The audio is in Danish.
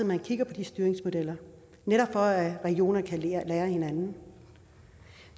man kigger på de styringsmodeller netop for at regionerne kan lære af hinanden